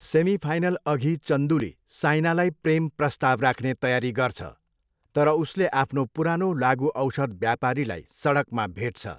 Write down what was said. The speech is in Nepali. सेमिफाइनलअघि चन्दूले साइनालाई प्रेम प्रस्ताव राख्ने तयारी गर्छ तर उसले आफ्नो पुरानो लागुऔषध व्यापारीलाई सडकमा भेट्छ।